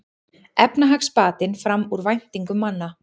Efnahagsbatinn fram úr væntingum manna